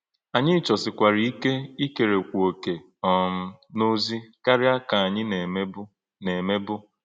Ányị̄ chọ́sịkwàrà íké íkèrèkwú òkè̄ um n’ọ̀zì̄ kárí̄á kà ānyị̄ nā-èmē̄bụ́. nā-èmē̄bụ́.